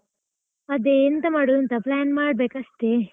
ಅದೇ, ಎಂತ ಮಾಡುದಂತ plan ಮಾಡ್ಬೇಕಷ್ಟೇ.